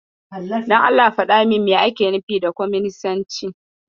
Please tell me what communism is?